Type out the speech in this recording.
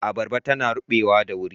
Abarba tana rubewa da wuri.